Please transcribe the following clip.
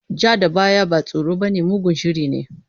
Ja da baya ba tsoro bane, mugun shiri ne.